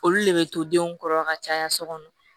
Olu le bɛ to denw kɔrɔ ka caya so kɔnɔ